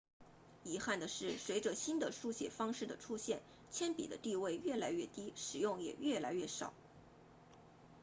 遗憾的是随着新的书写方式的出现铅笔的地位越来越低使用也越来越少